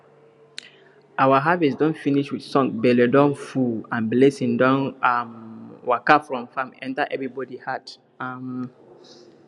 our harvest don finish with song belle don full and blessing don um waka from farm enter everybody heart um